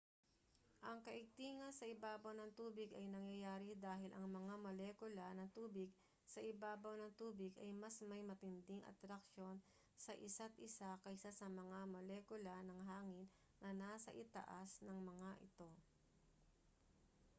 ang kaigtingan sa ibabaw ng tubig ay nangyayari dahil ang mga molekula ng tubig sa ibabaw ng tubig ay mas may matinding atraksyon sa isa't-isa kaysa sa mga molekula ng hangin na nasa itaas ng mga ito